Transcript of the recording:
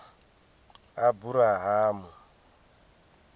aburahamu